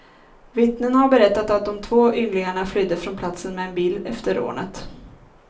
Vittnen har berättat att de två ynglingarna flydde från platsen med bil efter rånet.